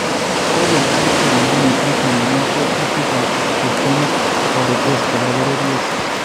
Kogonakichek koombuniit netononen teetutiikaab kristyonik toreteet koba bororyeet